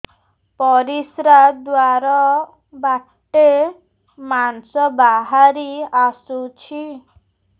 ପରିଶ୍ରା ଦ୍ୱାର ବାଟେ ମାଂସ ବାହାରି ଆସୁଛି